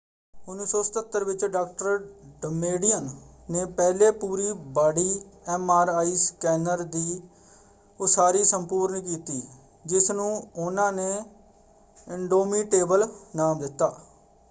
1977 ਵਿੱਚ ਡਾ. ਡਮੇਡੀਅਨ ਨੇ ਪਹਿਲੇ ਪੂਰੀ-ਬਾਡੀ” ਐਮ.ਆਰ.ਆਈ. ਸਕੈਨਰ ਦੀ ਉਸਾਰੀ ਸੰਪੂਰਨ ਕੀਤੀ ਜਿਸਨੂੰ ਉਹਨਾਂ ਨੇ ਇਨਡੋਮੀਟੇਬਲ” ਨਾਮ ਦਿੱਤਾ।